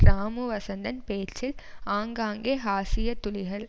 ராமு வசந்தன் பேச்சில் ஆங்காங்கே ஹாஸ்ய துளிகள்